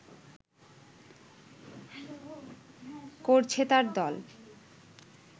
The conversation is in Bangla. করছেতার দল